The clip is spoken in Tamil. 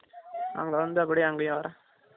அங்க வந்துட்டு அப்டியே அங்க வரேன்